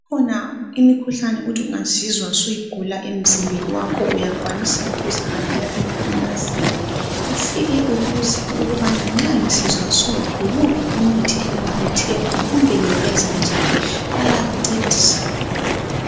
Ikhona imikhuhlane othi ungazizwa usuyigula emzimbeni wakho uyakwanisa ukuzihambela emafamasini Ufike ubuze kanti nxa ngisizwa so yiwuphi umuthi engingawuthenga kumbe ngingenza njanibayakuncedisa.